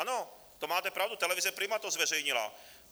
Ano, to máte pravdu, televize Prima to zveřejnila.